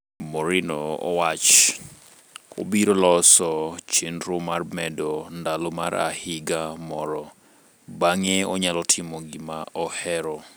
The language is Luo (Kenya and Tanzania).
Mourinho owach: obiro loso chenro mar mede ndalo mar higa moro, bang'e onyalo timo gima ohero.